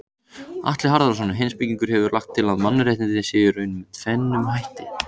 Atli Harðarson heimspekingur hefur lagt til að mannréttindi séu í raun með tvennum hætti.